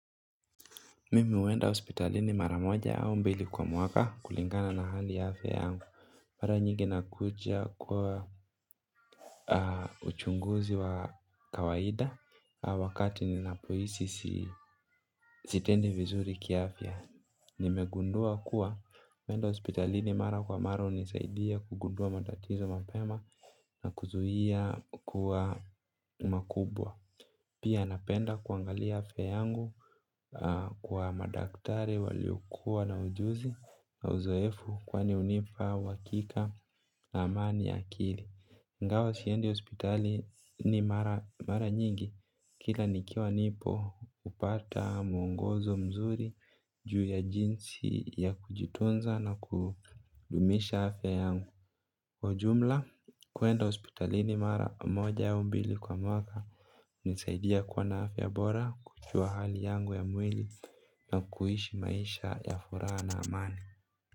Mimi huenda hospitalini mara moja au mbili kwa mwaka kulingana na hali ya afya yangu. Mara nyingi nakuja kwa uchunguzi wa kawaida au wakati ninapohisi sitendi vizuri kiafya. Nimegundua kuwa kuenda hospitalini mara kwa mara hunisaidia kugundua matatizo mapema na kuzuia kuwa makubwa. Pia napenda kuangalia afya yangu kwa madaktari waliokuwa na ujuzi na uzoefu kwani hunipa, uhakika amani ya akili. Ingawa siendi hospitali ni mara nyingi kila nikiwa nipo hupata mwongozo mzuri juu ya jinsi ya kujitunza na kudumisha afya yangu. Kwa ujumla, kuenda hospitalini mara moja au mbili kwa mwaka hunisaidia kuwa na afya bora kujua hali yangu ya mwili na kuishi maisha ya furaha na amani.